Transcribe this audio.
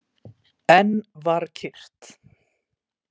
Enn var kyrrt.